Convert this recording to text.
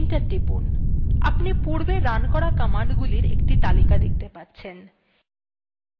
enter টিপুন আপনি পূর্বে রান করা কমান্ডগুলির একটি তালিকা দেখতে পাচ্ছেন